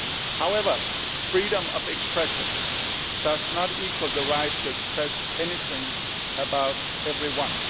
However, freedom of expression is not equivalent to the right to express anything about everyone.